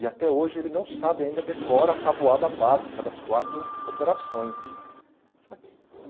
E até hoje ele não sabe, ainda decora a tabuada básica das quatro operações.